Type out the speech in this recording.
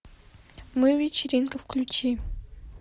мы вечеринка включи